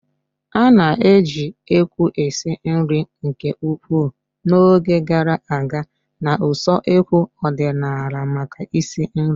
A na-eji ékwú esi nri nke ukwuu n'oge gara aga na usekwu ọdịnala maka isi nri